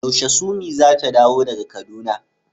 Yaushe summi zata dawo daga kaduna?